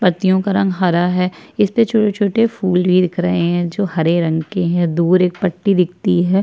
पत्तियों का रंग हरा है इसपे छोटे-छोटे फूल भी दिख रहे हैं जो हरे रंग के हैं दूर एक पत्ती दिखती है।